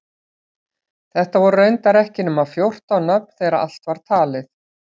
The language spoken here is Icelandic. Þetta voru reyndar ekki nema fjórtán nöfn þegar allt var talið.